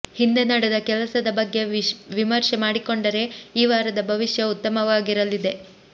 ಹಿಂದೆ ನಡೆದ ಕೆಲಸದ ಬಗ್ಗೆ ವಿಮರ್ಷೆ ಮಾಡಿಕೊಂಡರೆ ಈ ವಾರದ ಭವಿಷ್ಯ ಉತ್ತಮವಾಗಿರಲಿದೆ